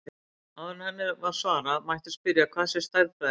Áður en henni er svarað mætti spyrja hvað sé stærðfræði.